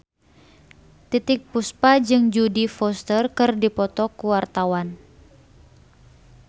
Titiek Puspa jeung Jodie Foster keur dipoto ku wartawan